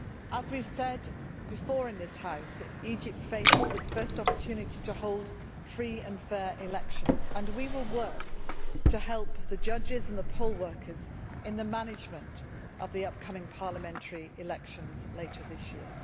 As we have said before in this House, Egypt faces its first opportunity to hold free and fair elections and we will work to help the judges and poll workers in the management of the upcoming parliamentary elections later this year.